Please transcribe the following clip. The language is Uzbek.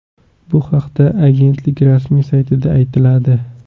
Bu haqda Agentlik rasmiy saytida aytiladi .